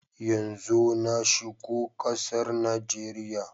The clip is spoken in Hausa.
Yanzo na shigo kasar Najeriya.